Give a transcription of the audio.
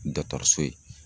so ye